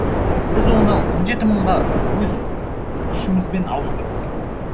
біз оны он жеті мыңға өз күшімізбен ауыстырдық